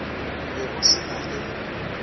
be o se na le